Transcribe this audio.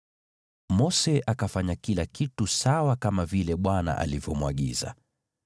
Mose akafanya kila kitu sawa kama vile Bwana alivyomwagiza.